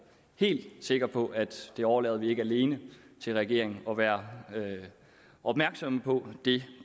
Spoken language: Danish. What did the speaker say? helt sikker på at det overlader vi ikke alene til regeringen at være opmærksom på det